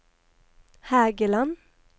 Hægeland